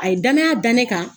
A ye danaya dan ne kan